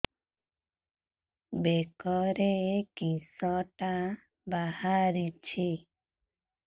ବେକରେ କିଶଟା ବାହାରିଛି